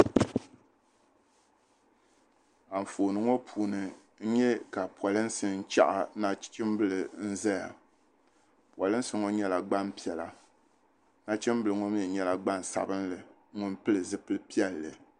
Anfooni ŋɔ puuni n nyɛ ka polinsi n chaɣa nachimbili n ʒɛya polinsi ŋɔ nyɛla gbanpiɛla nachimbili ŋɔ mii nyɛla gbansabinli ŋun pili zipili piɛlli